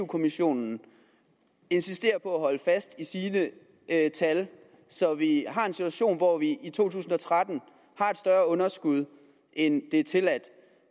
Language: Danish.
kommissionen insisterer på at holde fast i sine tal så vi har en situation hvor vi i to tusind og tretten har et større underskud end det tilladte